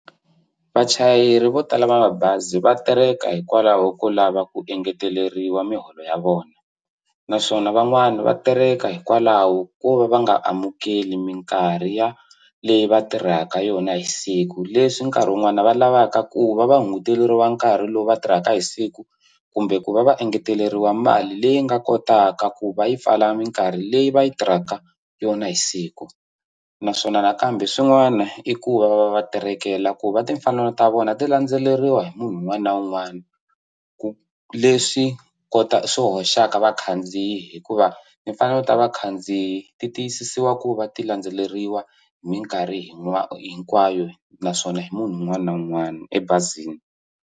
Vachayeri vo tala va mabazi va tereka hikwalaho ko lava ku engeteleriwa miholo ya vona naswona van'wani va tereka hikwalaho ko va va nga amukeli minkarhi ya leyi va tirhaka yona hi siku leswi nkarhi wun'wani va lavaka ku va va hunguteriwa nkarhi lowu va tirhaka hi siku kumbe ku va va engeteleriwa mali leyi nga kotaka ku va yi pfala minkarhi leyi va yi tirhaka yona hi siku naswona nakambe swin'wana i ku va va va va terekela ku va timfanelo ta vona ti landzeleriwa hi munhu un'wana na un'wana ku leswi swi hoxaka vakhandziyi hikuva timfanelo ku ta vakhandziyi ti tiyisisiwa ku va ti landzeleriwa hi minkarhi hinkwayo naswona hi munhu un'wana na un'wana ebazini.